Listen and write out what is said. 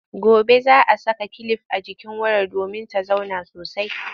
Gobe za a saka kilif a jikin wayar domin ta zauna sosai.